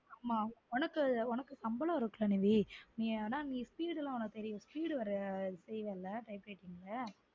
ஆமா உனக்கு உனக்கு சம்பளம் இருக்குல நிவீ ஆனா நீ speed உனக்கு தெரியும் speed ல வர தெரியும்ல type writing ல